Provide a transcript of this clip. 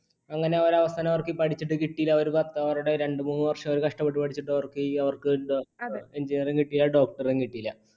അങ്ങനെ അവർ അവസാനം അവർക്ക് പഠിച്ചിട്ട് കിട്ടിയില്ല രണ്ടു മൂന്ന് വർഷം അവർ കഷ്ടപ്പെട്ട് പഠിച്ചിട്ട് അവക്ക് engineer ഉം കിട്ടിയില്ല doctor ഉം കിട്ടിയില്ല.